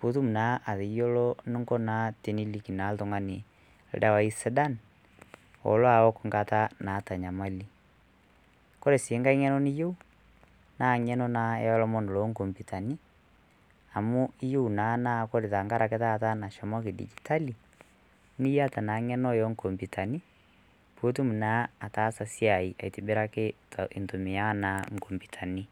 putum naa ateyiolo nunko naa teniliki naa oltung'ani ildawai sidan olo awok nkata naata nyamali kore sii nkae ng'eno niyieu naa ng'eno naa olomon loonkompiutani amu iyieu naa, naa kore tenkarake taata nashomoki dijitali niyata naa ng'eno enkompitani putum naa ataasa siai aitibiraki intumia naa inkompitani.